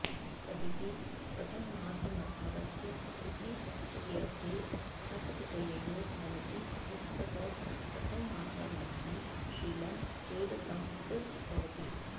तदिति प्रथमासमर्थादस्य इति षष्ट्यर्थे ठक् प्रत्ययो भवति यत्तत् प्रथमासमर्थं शीलं चेद् तद् भवति